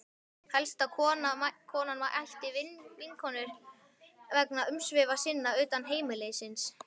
Helst að konan ætti vinkonur vegna umsvifa sinna utan heimilisins.